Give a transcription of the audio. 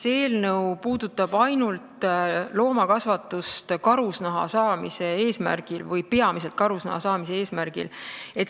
See eelnõu puudutab ainult loomakasvatust karusnaha saamise eesmärgil või peamiselt karusnaha saamise eesmärgil.